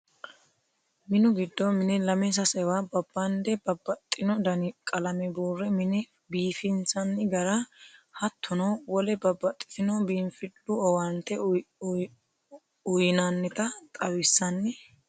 Minu giddo mine lame sasewa babbande babbaxxino dani qalame buure mine biifissani gara hattono wole babbaxxitino biinfilu owaante uyinannitta xawinsanni hee'nonni.